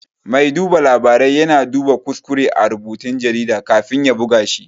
Mai duba labarai ya na duba kuskure a rubutun jarida kafin a buga shi